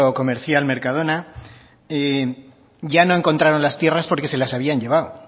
comercial mercadona ya no encontraron las tierras porque se las habían llevado